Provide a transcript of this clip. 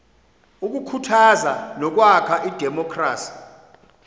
ukukhuthaza nokwakha idemokhrasi